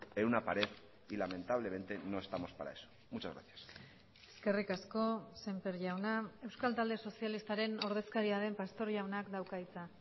en una pared y lamentablemente no estamos para eso muchas gracias eskerrik asko sémper jauna euskal talde sozialistaren ordezkaria den pastor jaunak dauka hitza